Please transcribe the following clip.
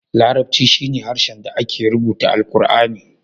Larabci shine harshen da ake rubuta alqurani.